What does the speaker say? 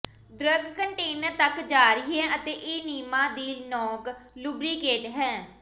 drug container ਤੱਕ ਜਾਰੀ ਹੈ ਅਤੇ ਏਨੀਮਾ ਦੀ ਨੋਕ ਲੁਬਰੀਕੇਟ ਹੈ